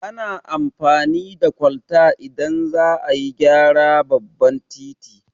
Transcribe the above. Ana amfani da kwalta idan za a gyara babban titi